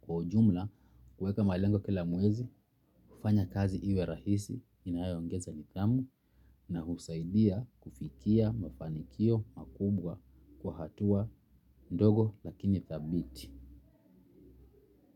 Kwa ujumla, kueka malengo kila mwezi, hufanya kazi iwe rahisi inayongeza nidhamu na husaidia kufikia mafanikio makubwa kwa hatua ndogo lakini dhabiti.